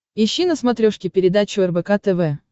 ищи на смотрешке передачу рбк тв